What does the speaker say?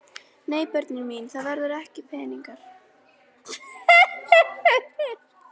Nei börnin mín, það voru ekki peningar.